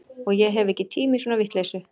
Og ég hef ekki tíma í svona vitleysu